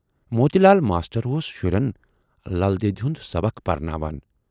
موتی Lal master اوس شُرٮ۪ن"لل دیدِ"ہُند سبق پَرٕناوان۔